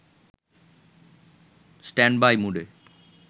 standby মুডে